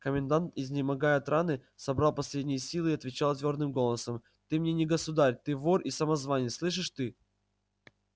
комендант изнемогая от раны собрал последние силы и отвечал твёрдым голосом ты мне не государь ты вор и самозванец слышишь ты